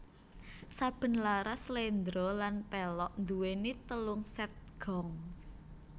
Saben laras sléndro lan pelog nduwéni telung sèt gong